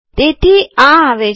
તેથી આ આવે છે